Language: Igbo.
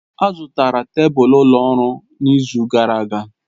A zụtara tebụl ụlọ ọrụ n'izu gara aga.